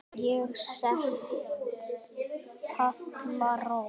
Ég set Palla Rós.